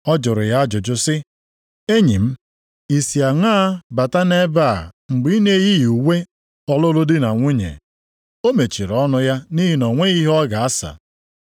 Ọ jụrụ ya ajụjụ sị, ‘Enyi m, i si aṅaa bata nʼebe a mgbe ị na-eyighị uwe ọlụlụ di na nwunye?’ O mechiri ọnụ ya nʼihi na o nweghị ihe ọ ga-asa.